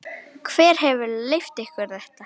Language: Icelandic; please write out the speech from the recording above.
Hver hefur leyft ykkur þetta?